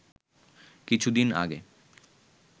"কিছুদিন আগে